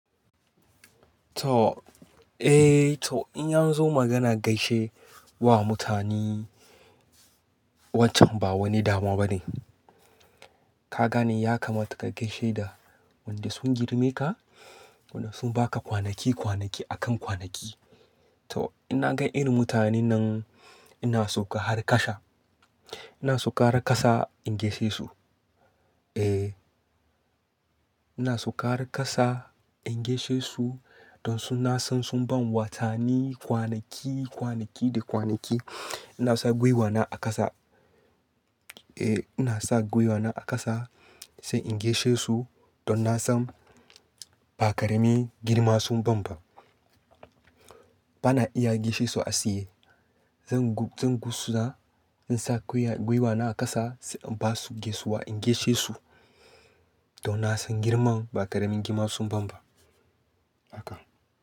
To, eh to in an zo magana gaishe wa mutane wancan ba wani damuwa bane. Ka gane ya kamata ka gaishe da wanda sun girme ka, wanda sun ba ka kwanaki kwanaki a kan kwanaki. To in na ga irin mutane nan ina sauka har kasa, ina sauka harkasa in gaishe su. Eh, ina sauka har kasa in gaishe su don su na san sun ban watanni, kwanaki, kwanaki da kwanaki. Ina sa gwiwana a ƙasa, eh ina sa gwiwana a ƙasa sai in gaishe su don na san ba karami girma sun ban ba. Ba na iya gaishe su a tsaye. Zan, zan gusuza in sa gwiwana a ƙasa sai in ba su gaisuwa in gaishe su don na san girman ba karemin girma sun ban ba. Haka.